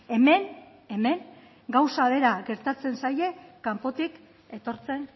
hemen hemen gauza bera gertatzen zaie kanpotik etortzen